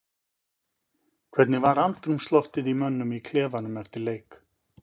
Hvernig var andrúmsloftið í mönnum í klefanum eftir leik?